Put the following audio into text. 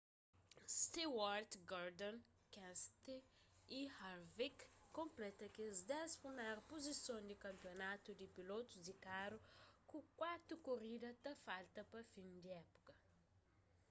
stewart gordon kenseth y harvick konpleta kes dés priméru puzison di kanpionatu di pilotus di karu ku kuatu korida ta falta pa fin di épuka